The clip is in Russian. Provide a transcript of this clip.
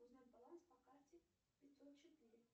узнать баланс по карте пятьсот четыре